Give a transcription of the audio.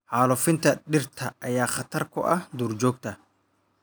Xaalufinta dhirta ayaa khatar ku ah duurjoogta.